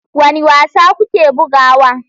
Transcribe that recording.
Wane wasa kuke bugawa?